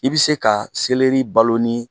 I bɛ se ka selɛri balon ni